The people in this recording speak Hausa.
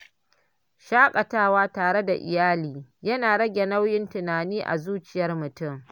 Shakatawa tare da iyali yana rage nauyin tunani a zuciyar mutum.